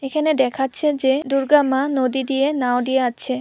এখানে দেখাচ্ছে যে দুর্গা মা নদী দিয়ে নাও দিয়ে হাঁটছে।